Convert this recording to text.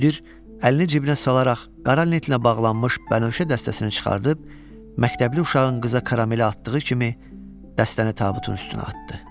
Müdir əlini cibinə salaraq qara lentlə bağlanmış bənövşə dəstəsini çıxarıb, məktəbli uşağın qəzala karamel atdığı kimi dəstəni tabutun üstünə atdı.